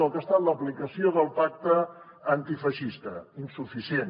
del que ha estat l’aplicació del pacte antifeixista insuficient